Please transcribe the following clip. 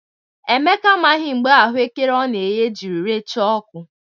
Emeka amaghị mgbe ahụekere ọ nara eghe jiri recha ọkụ.